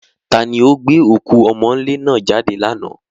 Ta ni ó gbé òkú ọmọ́ńlé náà jáde lánàá?